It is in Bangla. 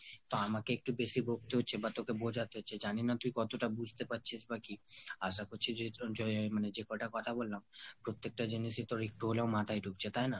আমাকে একটু বেশি বকতে হচ্ছে বা তোকে বোজাতে হচ্ছে। জানিনা তুই কতটা বুজতে পারছিস বা কি। আশা করি এতক্ষনধরে যে কয়টা কথা বললাম প্রতেকটা জিনিসই একটু হলেও তোর মাথায় ঢুকছে তাইনা?